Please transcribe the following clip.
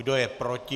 Kdo je proti?